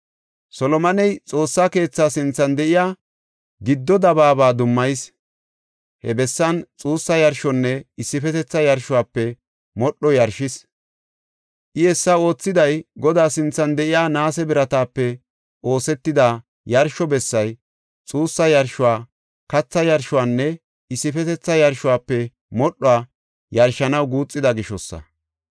Solomoney xoossaa keethaa sinthan de7iya giddo dabaaba dummayis. He bessan xuussa yarshonne issifetetha yarshuwafe modhuwa yarshis. I hessa oothiday, Godaa sinthan de7iya naase biratape oosetida yarsho bessay, xuussa yarshuwa, katha yarshuwanne issifetetha yarshuwafe modhuwa yarshanaw guuxida gishosa.